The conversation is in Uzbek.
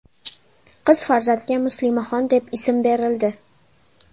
Qiz farzandga Muslimaxon deb ism berildi.